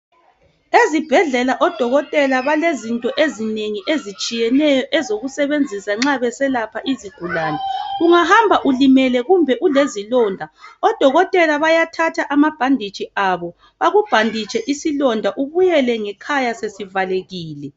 Ezibhedlela odokotela balezinto ezinengi ezitshiyeneyo ezokusebenzisa nxa beselapha izigulane. Ungahamba ulimele kumbe ulezilonda odokotela bayathatha amabhanditshi abo bakubhanditshe isilonda ubuyele ngekhaya sesivalekile.